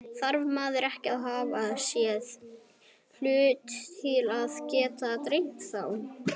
Þarf maður ekki að hafa séð hlutina til að geta dreymt þá?